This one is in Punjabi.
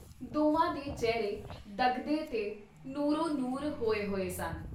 ਦੋਵਾਂ ਦੇ ਚਿਹਰੇ ਦਗਦੇ ਤੇ ਨੂਰੋ ਨੂਰ ਹੋਏ ਹੋਏ ਸਨ।